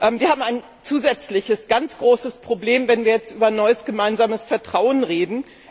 Wir haben ein zusätzliches, ganz großes Problem, wenn wir jetzt über neues gemeinsames Vertrauen reden.